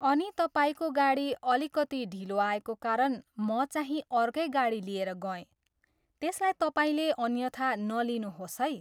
अनि तपाईँको गाडी अलिकति ढिलो आएको कारण म चाहिँ अर्कै गाडी लिएर गएँ, त्यसलाई तपाईँले अन्यथा नलिनुहोस् है!